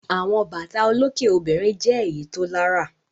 Àwọn bàtà olókè obìnrin jẹ́ èyí tó lárà.